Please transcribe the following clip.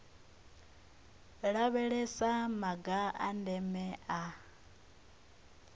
lavhelesa maga a ndeme a